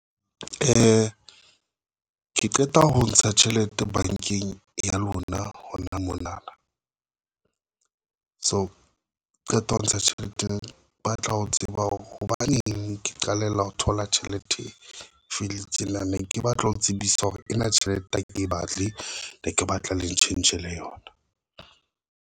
Ke qeta ho ntsha tjhelete bankeng ya lona hona mona, so qeta ho ntsha tjhelete ba tla ho tseba hore hobaneng ke qalella ho thola tjhelete e felletseng. Nna ne ke batla ho tsebisa hore ena tjhelete ya ka e batle ne ke batla le tjhentjhele yona.